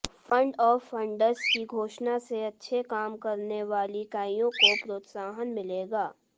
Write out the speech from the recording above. fund of funds की घोषणा से अच्छे काम करने वाली इकाइयों को प्रोत्साहन मिलेगा